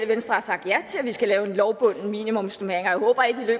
venstre har sagt ja til at vi skal lave en lovbunden minimumsnormering